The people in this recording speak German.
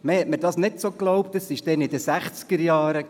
Man hat es mir nicht ganz geglaubt, damals in den Sechzigerjahren.